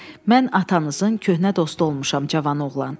Mən atanızın köhnə dostu olmuşam, cavan oğlan.